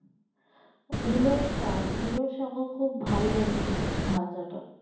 মুলোর শাক মুলোর শাকও খুব ভাল্লাগে খেতে ভাজাটা